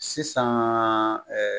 Sisan